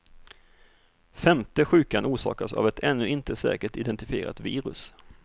Femte sjukan orsakas av ett ännu inte säkert identifierat virus.